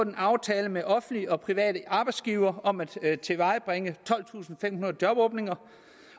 en aftale med offentlige og private arbejdsgivere om at tilvejebringe tolvtusinde og femhundrede jobåbninger